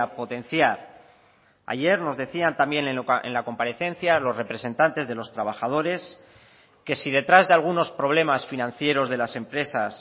potenciar ayer nos decían también en la comparecencia los representantes de los trabajadores que si detrás de algunos problemas financieros de las empresas